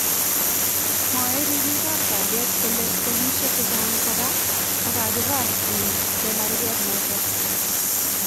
Mwae ribiikab kalyet kole poliisyeek chechang koraa kokakibaar en chemarket noton